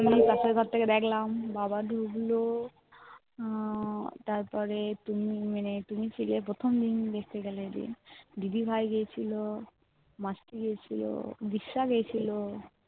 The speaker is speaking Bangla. আমি পাশের ঘর থেকে দেখলাম বাবা ঢুকল।